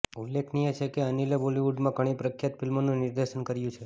ઉલ્લેખનીય છે કે અનિલે બોલિવૂડમાં ઘણી પ્રખ્યાત ફિલ્મોનું નિર્દેશન કર્યું છે